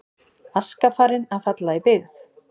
Aska farin að falla í byggð